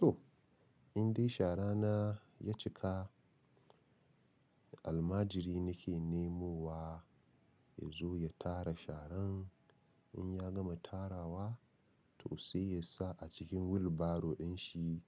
To, in dai shara na ya cika, almajiri nake nemowa ya zo ya tara sharan. In ya gama tarawa toh sai ya sa a cikin wilbaro din shi